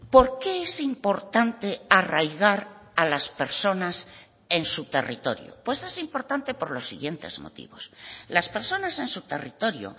porque es importante arraigar a las personas en su territorio pues es importante por los siguientes motivos las personas en su territorio